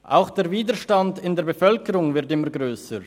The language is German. Auch der Widerstand in der Bevölkerung wird immer grösser.